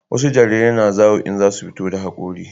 wasu jarirai na zawo in za su fito da hakori